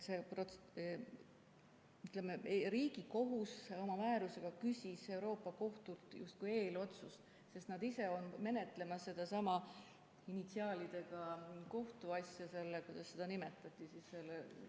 Riigikohus oma määrusega küsis Euroopa Liidu Kohtult justkui eelotsuse, sest nad ise on menetlemas sedasama initsiaalidega kohtuasja – kuidas seda nimetati?